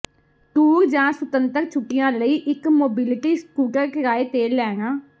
tour ਜਾਂ ਸੁਤੰਤਰ ਛੁੱਟੀਆਂ ਲਈ ਇੱਕ ਮੋਬਿਲਿਟੀ ਸਕੂਟਰ ਕਿਰਾਏ ਤੇ ਲੈਣਾ